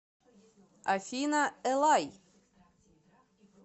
афина элай